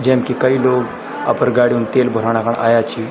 जैम कि कई लोग अपर गाड़ी म तेल भराणा कण आया छी।